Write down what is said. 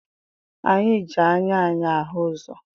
Anyị ji anya anyị ahụ ụzọ